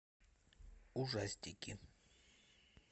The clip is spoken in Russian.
ужастики